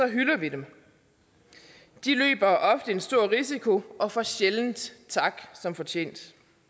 hylder vi dem de løber ofte en stor risiko og får sjældent tak som fortjent